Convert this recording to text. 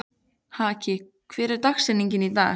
Haki, hver er dagsetningin í dag?